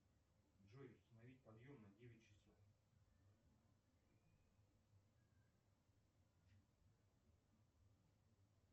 джой установи подъем на девять часов